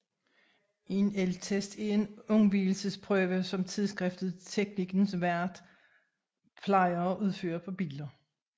En elgtest er en undvigelsesprøve som tidsskriftet Teknikens Värld plejer at udføre på biler